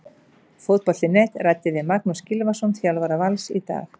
Fótbolti.net ræddi við Magnús Gylfason, þjálfara Vals, í dag.